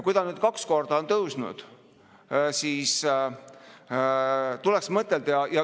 Kuna ta on nüüdseks kaks korda on tõusnud, siis tuleks ka selle peale mõtelda.